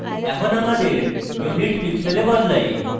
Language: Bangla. এখন আমাদের units pixels বদলাই